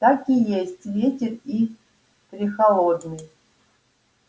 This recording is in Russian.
так и есть ветер и прехолодный